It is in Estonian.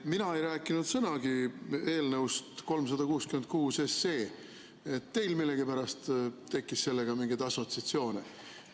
Mina ei rääkinud sõnagi eelnõust 366, teil endal millegipärast tekkis sellega mingeid assotsiatsioone.